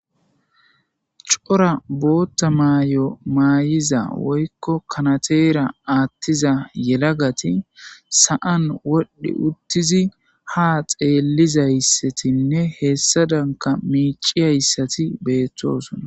cora bootta maayo maayiza woykko kanateera aattiza yelagati sa7an wodhdhi uttizi ha xeellizayssatinne heessa danka miiciyayssati beettoosona